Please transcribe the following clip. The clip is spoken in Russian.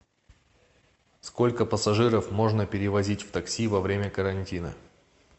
сколько пассажиров можно перевозить в такси во время карантина